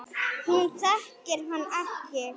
Hún þekkir hann ekki.